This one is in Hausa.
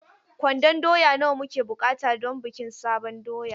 Kwandon doya nawa muke buƙata don bikin sabon doya?